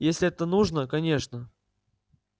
если это нужно конечно